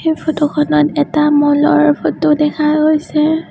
এই ফটো খনত এটা মল ৰ ফটো দেখা গৈছে।